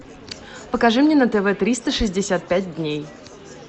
покажи мне на тв триста шестьдесят пять дней